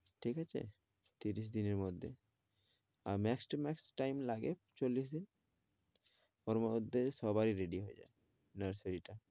ঠিক আছে ত্রিশ দিনের মধ্যে। Ah max to max time লাগে চল্লিশ দিন, ওর মধ্যে সবাই ready হয়ে যায় nursery টা।